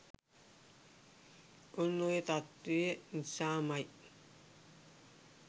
ඔන්න ඔය තත්ත්වය නිසාම යි